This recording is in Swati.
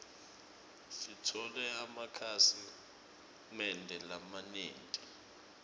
sitfole emakhasi mende lamanyenti